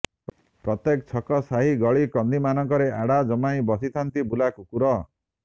ପ୍ରତ୍ୟେକ ଛକ ସାହି ଗଳି କନ୍ଦି ମାନଙ୍କରେ ଆଡ଼ା ଜମାଇ ବସିଥାନ୍ତି ବୁଲା କୁକୁର